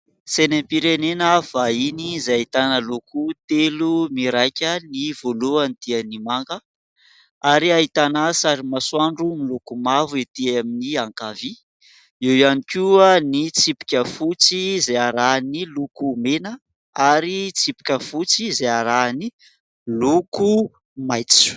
Sainam-pirenena vahiny izay ahitana loko telo miraika : ny voalohany dia ny manga ary ahitana sary masoandro miloko mavo ety amin'ny ankavia, eo ihany koa ny tsipika fotsy izay arahan'ny loko mena ary tsipika fotsy izay arahan'ny loko maitso.